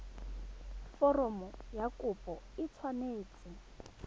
foromo ya kopo e tshwanetse